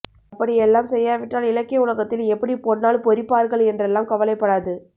அப்படியெல்லாம் செய்யாவிட்டால் இலக்கிய உலகத்தில் எப்படி பொன்னால் பொறிப்பார்கள் என்றெல்லாம் கவலைப்படாது